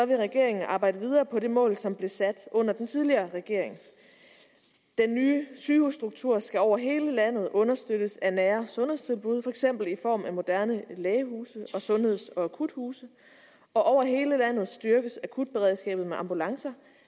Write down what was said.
vil regeringen arbejde videre på det mål som blev sat under den tidligere regering den nye sygehusstruktur skal over hele landet understøttes af nære sundhedstilbud for eksempel i form af moderne lægehuse og sundheds og akuthuse og over hele landet styrkes akutberedskabet med ambulancer